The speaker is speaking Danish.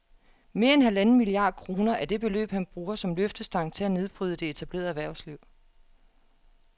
Mere end halvanden milliard kroner er det beløb, han bruger som løftestang til at nedbryde det etablerede erhvervsliv